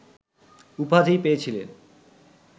উপাধি পেয়েছিলেন